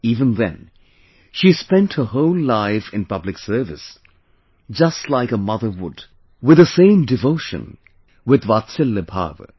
Even then, she spent her whole life in public service, just like a mother would with the same devotion with Vatsalya Bhava